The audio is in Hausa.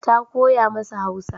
Ta koya masa Hausa.